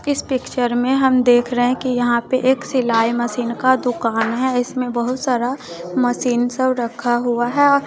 इस पिक्चर में हम देख रहे है कि यहां पे एक सिलाई मशीन का दुकान है इसमें बहुत सारा मशीन सब रखा हुआ हैं।